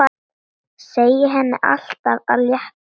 Segja henni allt af létta.